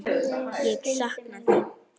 Ég sakna þín.